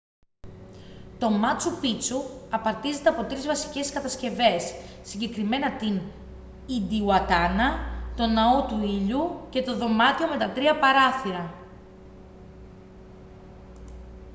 το μάτσου πίτσου απαρτίζεται από τρεις βασικές κατασκευές συγκεκριμένα την ιντιουατάνα τον ναό του ήλιου και το δωμάτιο με τα τρία παράθυρα